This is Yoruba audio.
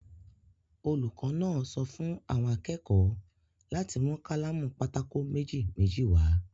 Olùkọ́ náà sọ fún àwọn akẹ́kọ̀ọ́ láti mú kálámù pátákò méjì-méjì wá.